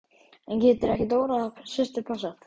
En getur ekki Dóra systir passað?